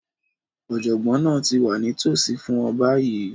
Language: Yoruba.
Ọ̀jọ̀gbọ́n náà ti wà nítòsí fún ọ báyìí